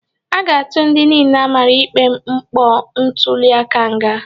A ga-atụ ndị niile amara ikpe mpọ ntuliaka nga.